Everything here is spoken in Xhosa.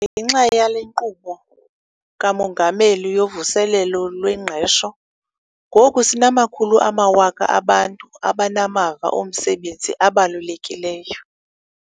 Ngenxa yale Nkqubo kaMongameli yoVuselelo lweNgqesho, ngoku sinamakhulu amawaka abantu abanamava omsebenzi abalulekileyo.